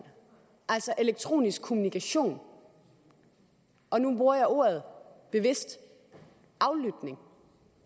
altså elektronisk kommunikation og nu bruger jeg ordene bevidst aflytning